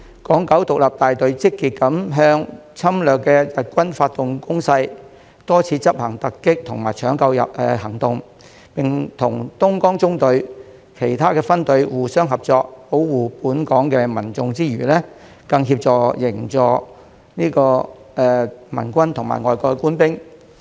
港九獨立大隊積極地向侵略的日軍發動攻勢，多次執行突擊和搶救行動，並與東江縱隊其他分隊互相合作，保護本港民眾之餘，更協助營救盟軍和外國官兵。